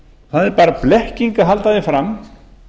það er bara blekking að halda því fram